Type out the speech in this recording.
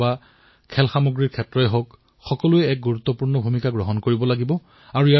হয়তোবা আপোনালোকৰ মাজৰ কোনোবাজনেও হয় এনে এপ প্ৰস্তুতিৰ বাবে অনুপ্ৰেৰিত হব পাৰে